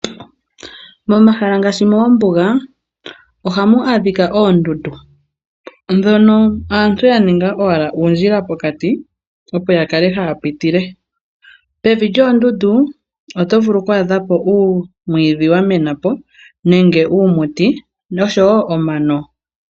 Momahala ngaashi moombuga ohamu adhika oondundu mono aantu ya ninga owala uundjila pokati, opo ya kale haya pitile. Pevi lyoondundu oto vulu oku adha po uumwiidhi wa mena po nenge uumuti noshowo omano.